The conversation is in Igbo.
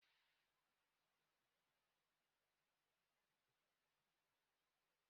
Ndi nke Kraịst na-alụ otu nwaanyị.